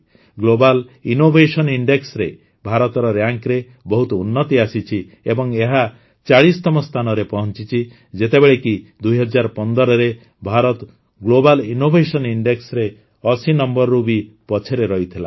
global innovation ଇଣ୍ଡେକ୍ସରେ ଭାରତର ରାଙ୍କରେ ବହୁତ ଉନ୍ନତି ଆସିଛି ଏବଂ ଏବେ ଏହା ୪୦ତମ ସ୍ଥାନରେ ପହଂଚିଛି ଯେତେବେଳେ କି ୨୦୧୫ରେ ଭାରତ ଗ୍ଲୋବାଲ୍ ଇନୋଭେସନ ଇଣ୍ଡେକ୍ସରେ ୮୦ ନମ୍ବରରୁ ବି ପଛରେ ରହିଥିଲା